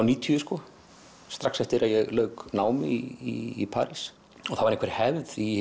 níutíu strax eftir að ég lauk námi í París það var einhver hefð í